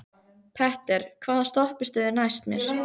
Petter, hvaða stoppistöð er næst mér?